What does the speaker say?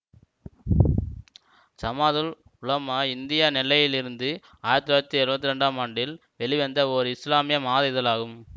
Jamathul Ulama India நெல்லையிலிருந்து ஆயிரத்தி தொள்ளாயிரத்தி எழுவத்தி இரண்டு ஆண்டில் வெளிவந்த ஓர் இசுலாமிய மாத இதழாகும்